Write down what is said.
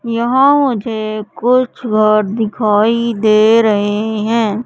यहां मुझे कुछ दिखाई दे रहे है।